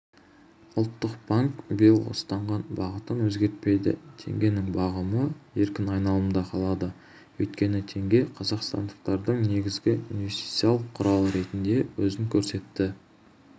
ұлттық банк биылғы ұстанған бағытын өзгертпейді теңгенің бағамы еркін айналымда қалады өйткені теңге қазақстандықтардың негізгі инвестициялық құралы ретінде өзін көрсетті